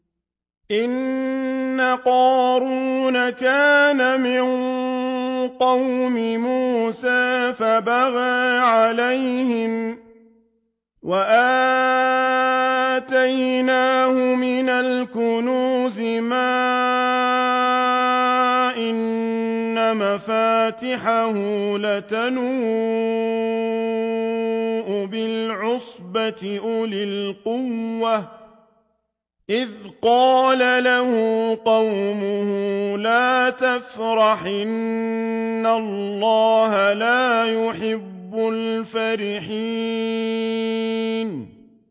۞ إِنَّ قَارُونَ كَانَ مِن قَوْمِ مُوسَىٰ فَبَغَىٰ عَلَيْهِمْ ۖ وَآتَيْنَاهُ مِنَ الْكُنُوزِ مَا إِنَّ مَفَاتِحَهُ لَتَنُوءُ بِالْعُصْبَةِ أُولِي الْقُوَّةِ إِذْ قَالَ لَهُ قَوْمُهُ لَا تَفْرَحْ ۖ إِنَّ اللَّهَ لَا يُحِبُّ الْفَرِحِينَ